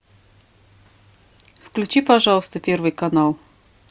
включи пожалуйста первый канал